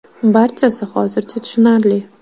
Barchasi hozircha tushunarli.